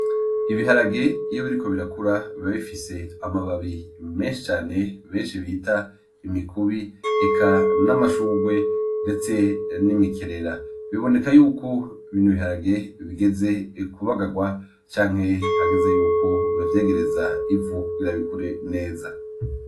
Ibiharage iyo biriko birakura biba bifis'amababi menshi cane benshi bita imikubi eka n'amashurwe ndetse n'imikerera, biboneka yuko bino biharage bigeze kubagarwa canke hageze yuko bavyegereza ivu kugira bikure neza.